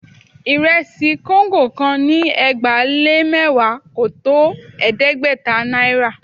Ìrẹsì kóńgò kan ni ẹgbàá-lé-mẹ́wàá kò tó ẹ̀ẹ́dẹ́gbẹ̀ta náírà